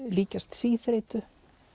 líkjast síþreytu